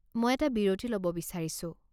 মই এটা বিৰতি ল'ব বিচাৰিছো।